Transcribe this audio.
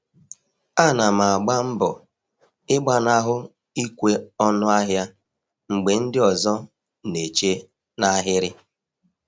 Ana m agba mbọ ịgbanahụ ikwe ọnụ ahịa mgbe ndị ọzọ na-eche n’ahịrị.